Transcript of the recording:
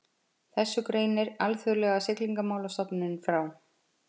Þessu greinir Alþjóðlega siglingamálastofnunin frá